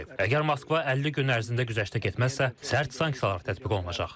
Əgər Moskva 50 gün ərzində güzəştə getməzsə, sərt sanksiyalar tətbiq olunacaq.